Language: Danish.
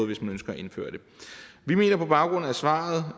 hvis man ønsker at indføre det vi mener på baggrund af svaret